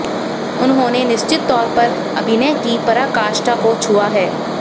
उन्होंने निश्चित तौर पे अभिनय की पराकाष्ठा को छुआ है